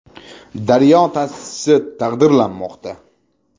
“Daryo” ta’sischisi taqdirlanmoqda.